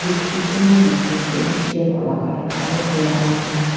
dikchi kunba dikhi ase shape alak alak aru colour alak alak.